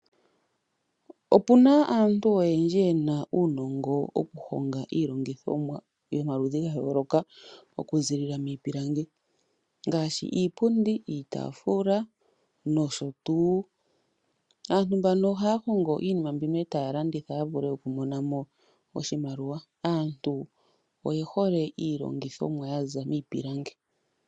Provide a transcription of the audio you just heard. Opuna aantu oyendji ye na uunongo woku honga iilongithomwa yomaludhi ga yooloka oku zilila miipilangi ngaashi iipundi, iitaafula noshotu. Aantu mbano ohaya hongo mo iinima mbika e taya landitha ya vule okumona mo oshimaliwa, aantu oye hole iilongithomwa yaza miipilangi.